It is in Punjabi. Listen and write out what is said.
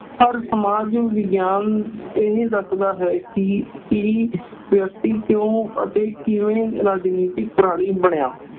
ਪਰ ਸਮਾਜਿਕ ਵਿਗਿਆਨ ਇਹ ਦੱਸਦਾ ਹੈ ਕਿ ਵਿਅਕਤੀ ਕਿਉਂ ਅਤੇ ਕਿਵੇਂ ਰਾਜਨੀਤਿਕ ਪ੍ਰਾਣੀ ਬਣਿਆ।